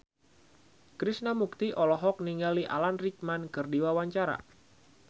Krishna Mukti olohok ningali Alan Rickman keur diwawancara